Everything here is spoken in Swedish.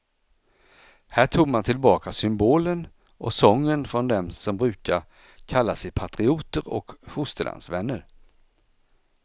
Här tog man tillbaka symbolen och sången från dem som brukar kalla sig patrioter och fosterlandsvänner.